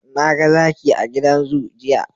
Naga Zaki a gidan zoo, jiya